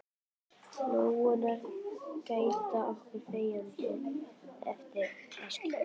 Lóurnar gæta okkar þegjandi eftir að skyggir.